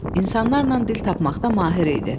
İnsanlarla dil tapmaqda mahir idi.